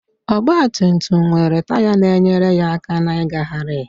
Ọgbatumtum nwere taya na-enyere aka na ngagharị